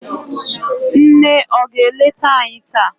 nne ọ ga-eleta anyi taa?